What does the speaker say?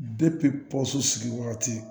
pɔso sigi wagati